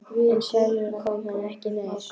En sjálfur kom hann ekki nær.